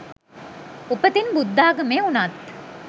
උපතින් බුද්ධාගමේ උණත්